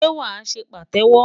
Ṣé wàá ṣe Pàtẹ́wọ́?